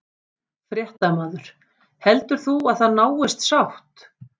Fréttamaður: Heldur þú að það náist sátt?